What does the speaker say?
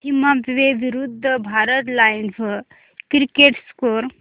Zimbabwe विरूद्ध Bharat live cricket score